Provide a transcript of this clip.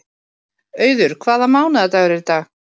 Auður, hvaða mánaðardagur er í dag?